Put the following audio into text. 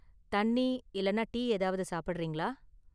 தண்ணி இல்லனா டீ ஏதாவது சாப்பிடுறீங்களா?